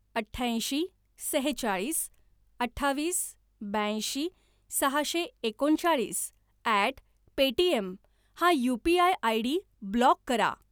अठ्याऐंशी सेहेचाळीस अठ्ठावीस ब्याऐंशी सहाशे एकोणचाळीस ॲट पेटीएम हा यू.पी.आय. आयडी ब्लॉक करा.